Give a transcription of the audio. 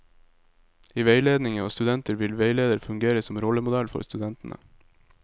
I veiledning av studenter vil veileder fungere som rollemodell for studentene.